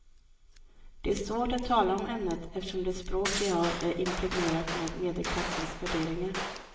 Det är svårt att tala om ämnet eftersom det språk vi har är impregnerat med medelklassens värderingar.